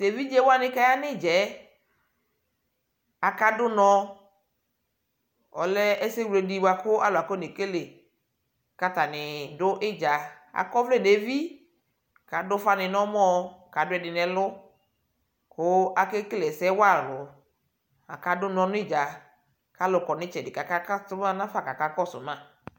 to evidze wani ko aya no idzaɛ aka do unɔ ko ɔlɛ ɛsɛ wle di ko alo akɔne kele ko atani do idza akɔ ɔvlɛ no evi ko ado ufa ni no ɔmɔ ko ado ɛdi no ɛlo ko ake kele ɛsɛ wa alo aka do unɔ no idza ko alo kɔ no itsɛdi ko aka kato no afa ko aka kɔso ma